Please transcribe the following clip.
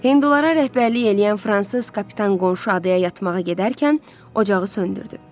Hindulara rəhbərlik eləyən fransız kapitan qonşu adaya yatmağa gedərkən ocağı söndürdü.